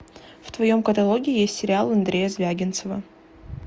в твоем каталоге есть сериал андрея звягинцева